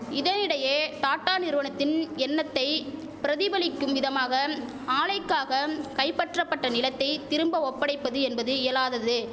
இதனிடையே டாட்டா நிறுவனத்தின் எண்ணத்தை பிரதிபலிக்கும் விதமாக ஆலைக்காக கைபற்றபட்ட நிலத்தை திரும்ப ஒப்படைப்பது என்பது இயலாதது